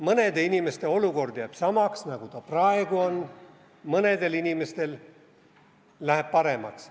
Mõnede inimeste olukord jääb samaks, nagu ta praegu on, mõnedel inimestel läheb paremaks.